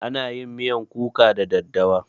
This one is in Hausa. Ana yin miyan kuka da daddawa.